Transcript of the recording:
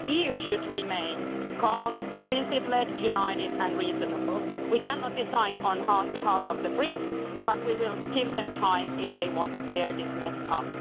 The EU should remain calm, principled, united and reasonable. We cannot decide on behalf of the Brits, but we will give them time if they want to clear this mess up.